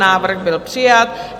Návrh byl přijat.